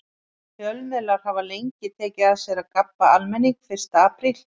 Fjölmiðlar hafa lengi tekið að sér að gabba almenning fyrsta apríl.